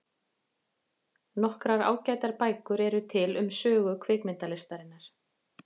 Nokkrar ágætar bækur eru til um sögu kvikmyndalistarinnar.